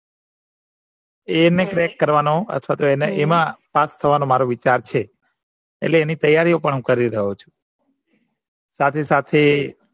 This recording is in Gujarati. એને ક્રેક કરવાનો અથવા તો એમાં પાસ થવાનો મારો વિચાર છે એટલે એની તૈયારીઓ પણ હું કરી રહ્યો છું સાથેસાથે